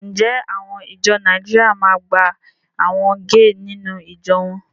Ǹjẹ́ àwọn ìjọ Nàìjíríà ma máa gba àwọn géè nínú ìjọ wọn?